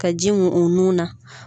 Ka ji mun u nun na.